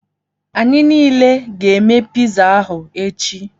Anyị niile ga-eme piza ahụ echi.